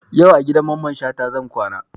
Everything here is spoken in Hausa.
Yau a gidan Mamman Shata zan kwana